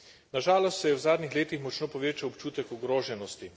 Na žalost se je v zadnjih letih močno povečal občutek ogroženosti.